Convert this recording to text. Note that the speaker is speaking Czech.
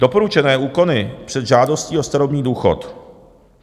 Doporučené úkony před žádostí o starobní důchod.